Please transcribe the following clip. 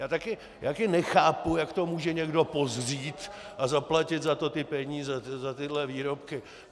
Já taky nechápu, jak to může někdo pozřít a zaplatit za to ty peníze, za tyhle výrobky.